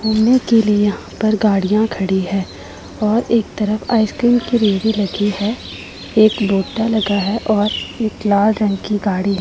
घूमने के लिए यहां पर गाड़ियां खड़ी है और एक तरफ आइसक्रीम की रेहड़ी लगी है एक लोटा लगा है और एक लाल रंग की गाड़ी है।